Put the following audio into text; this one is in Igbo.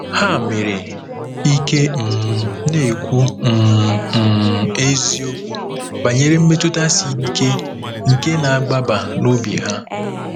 Ha nwere ike um na-ekwu um um eziokwu banyere mmetụta siri ike nke na-agbaba n'obi ha.